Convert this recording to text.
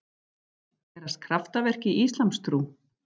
Gerast kraftaverk í íslamstrú?